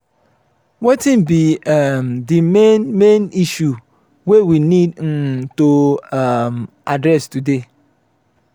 wetin be um the main main issue wey we need um to um address today?